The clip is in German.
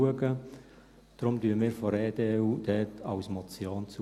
Deshalb stimmen wir von der EDU dem als Motion zu.